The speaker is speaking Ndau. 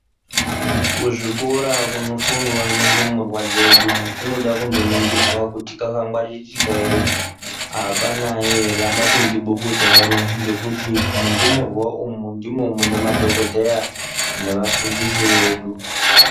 Kuzvikora kunofundwa nendumurwa dzedu kunoda kuningirwa kuti kwakangwaririka ere. Apanayi ere, apapindi bukuta ere ngekuti mundumurwa umu ndimo munemadhokodheya nevafundisi vedu.